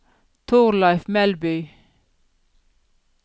Torleif Melby